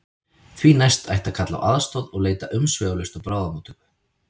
Því næst ætti að kalla á aðstoð og leita umsvifalaust á bráðamóttöku.